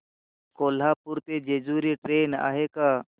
कोल्हापूर ते जेजुरी ट्रेन आहे का